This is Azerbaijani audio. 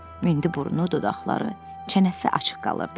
İndi burnu, dodaqları, çənəsi açıq qalırdı.